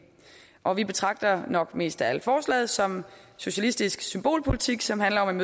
og vi betragter nok mest af alt forslaget som socialistisk symbolpolitik som handler om